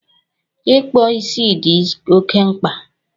Ikpo isi dị oke mkpa